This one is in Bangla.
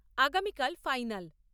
আগামীকাল ফাইনাল।